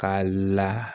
K'a la